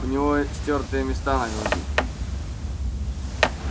у него стёртые места на груди